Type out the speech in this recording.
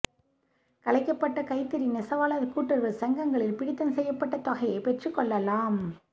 கலைக்கப்பட்ட கைத்தறி நெசவாளா் கூட்டுறவு சங்கங்களில் பிடித்தம் செய்யப்பட்ட தொகையைப் பெற்றுக் கொள்ளலாம்